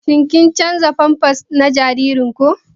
Shin kun canza pampers na jaririnku?